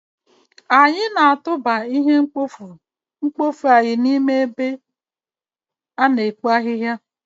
anyị na-atụba ihe mkpofu anyị n'ime ebe a n'ime ikpo ahihia